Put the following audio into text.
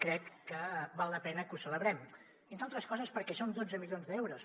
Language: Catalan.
crec que val la pena que ho celebrem entre altres coses perquè són dotze milions d’euros